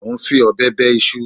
Mo ń fi ọ̀bẹ bẹ iṣu